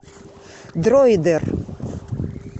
дроидер